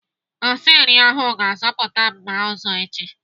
Osi nri ahụ ga-azụta mma ọzọ echi.